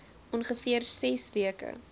ongeveer ses weke